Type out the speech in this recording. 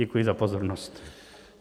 Děkuji za pozornost.